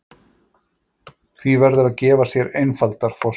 Því verður að gefa sér einfaldar forsendur.